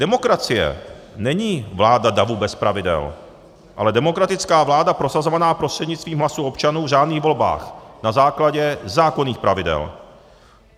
Demokracie není vláda davu bez pravidel, ale demokratická vláda prosazovaná prostřednictvím hlasů občanů v řádných volbách na základě zákonných pravidel.